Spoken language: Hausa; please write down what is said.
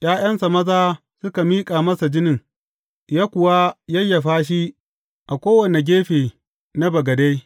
’Ya’yansa maza suka miƙa masa jinin, ya kuwa yayyafa shi a kowane gefe na bagade.